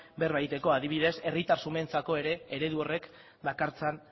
berba egiteko adibidez herritar xumeentzako ere eredu horrek dakartzan